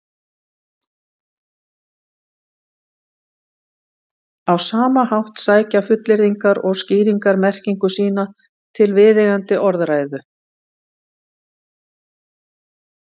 á sama hátt sækja fullyrðingar og skýringar merkingu sína til viðeigandi orðræðu